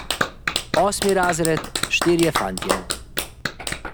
Osmi razred, štirje fantje.